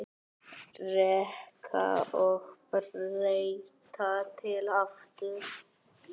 Reka og breyta til aftur?